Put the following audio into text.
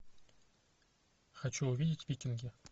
хочу увидеть викинги